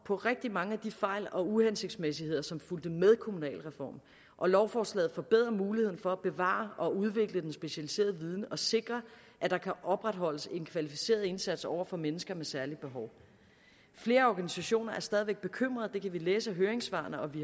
på rigtig mange af de fejl og uhensigtsmæssigheder som fulgte med kommunalreformen og lovforslaget forbedrer muligheden for at bevare og udvikle den specialiserede viden og sikre at der kan opretholdes en kvalificeret indsats over for mennesker med særlige behov flere organisationer er stadig væk bekymret det kan vi læse af høringssvarene og vi